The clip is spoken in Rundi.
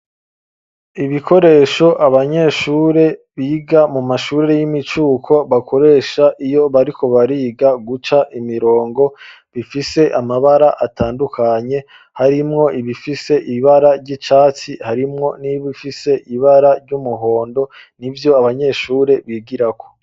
Ibikoresho, abanyeshure biga, mu mashuriri y'imicuko, bakoresha, iyo bariko bariga, guca imirongo; bifise amabara atandukanye, harimwo ibifise, ibara ry'icatsi, harimwo n'ibifise, ibara ry'umuhondo, ni vyo abanyeshure, bigirako.